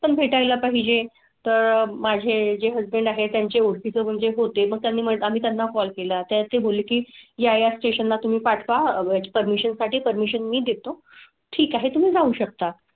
म्हणजे तर माझे जे हसबंड आहे त्यांची ओटी म्हणजे होते. मग त्यांनी आम्ही त्यांना कॉल केला. त्यात ते बोलले की या स्टेशनला तुम्ही पाठ वा परमिशन साठी परमिशन मी देतो ठीक आहे तुम्ही जाऊ शकता.